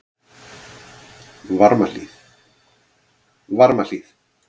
Varmahlíð